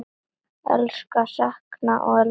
Elska, sakna og elska ætíð.